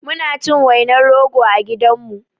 Muna cin wainar rogo a gidanmu